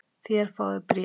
Þér fáið bréf!